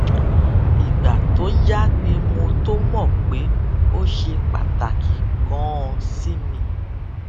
ìgbà tó yá ni mo tó mò pé ó ṣe pàtàkì ganan sí mi